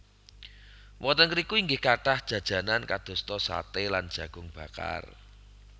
Wonten ngriku inggih kathah jajanan kadosta saté lan jagung bakar